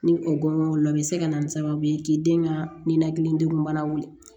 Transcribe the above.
Ni o gɔnŋɔn olu la o be se ka na ni sababu ye k'i den ka ninakili degun bana wuli